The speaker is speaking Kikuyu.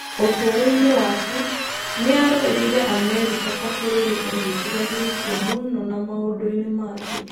Ũtũũro-inĩ wake, nĩ aarũĩrĩire Amerika ta bũrũri ũnyitithanĩtie mũno na maũndũ-inĩ ma thĩ.